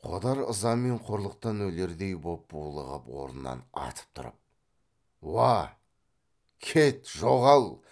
қодар ыза мен қорлықтан өлердей боп булығып орнынан атып тұрып уа кет жоғал